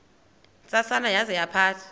ntsasana yaza yaphatha